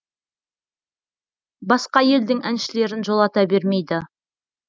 басқа елдің әншілерін жолата бермейді